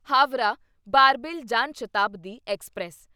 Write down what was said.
Howrah Barbil Jan Shatabdi express